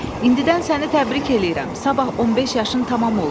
İndidən səni təbrik eləyirəm, sabah 15 yaşın tamam olur.